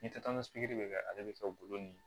Ni tasuma ye bɛ kɛ ale bɛ kɛ golo ye